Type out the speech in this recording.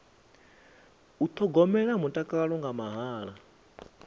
u thogomela mutakalo nga mahala